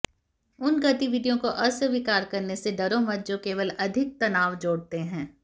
उन गतिविधियों को अस्वीकार करने से डरो मत जो केवल अधिक तनाव जोड़ते हैं